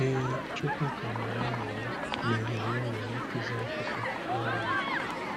Ee, Chukwuka nwere aṅụrị na ohere ọ nwere ịkụzi akụkọ n’Abia.